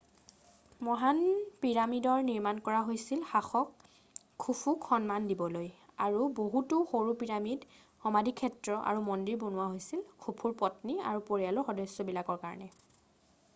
মহান পিৰামিডৰ নিৰ্মান কৰা হৈছিল শাসক খুফুক সন্মান দিবলৈ আৰু বহুতো সৰু পিৰামিড সমাধিক্ষেত্ৰ আৰু মন্দিৰ বনোৱা হৈছিল খুফুৰ পত্নী আৰু পৰিয়ালৰ সদস্যবিলাকৰ কাৰণে